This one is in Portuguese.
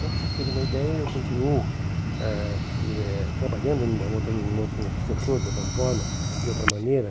Para vocês terem uma ideia, eu continuo ãh eh eh trabalhando numa outra em outro num outro setor, de outra forma, de outra maneira.